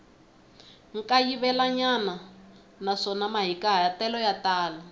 kayivelanyana naswona mahikahatelo ya tala